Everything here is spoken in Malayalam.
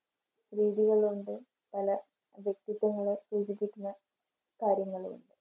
രീതികളുണ്ട് പല വ്യക്തിത്വങ്ങളെ സൂചിപ്പിക്കുന്ന കാര്യങ്ങളും ഉണ്ട്.